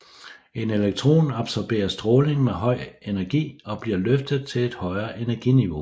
En elektron absorberer stråling med høj energi og bliver løftet til et højere energiniveau